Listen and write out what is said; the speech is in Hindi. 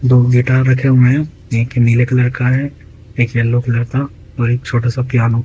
दो गिटार रखें हुए हैं एक नीले कलर का है एक येलो कलर का और एक छोटा सा पियानो ।